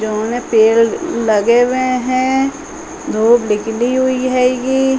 जोने पेड़ लगे हुए हैं। धुप निकली हुई हेगी।